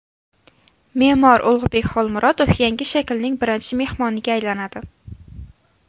Me’mor Ulug‘bek Xolmurodov yangi shaklning birinchi mehmoniga aylanadi.